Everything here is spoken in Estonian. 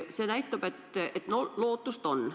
See näitab, et lootust on.